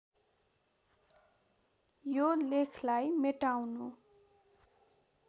यो लेखलाई मेटाउनु